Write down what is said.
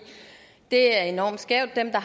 er enormt skævt dem der